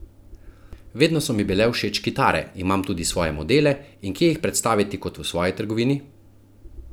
Vedno so mi bile všeč kitare, imam tudi svoje modele in kje jih predstaviti kot v svoji trgovini?